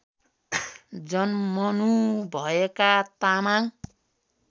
जन्मनु भएका तामाङ